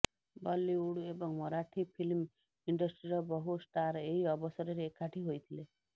ବଲିଉଡ ଏବଂ ମରାଠି ଫିଲ୍ମ ଇଣ୍ଡଷ୍ଟ୍ରିର ବହୁ ଷ୍ଟାର ଏହି ଅବସରରେ ଏକାଠି ହୋଇଥିଲେ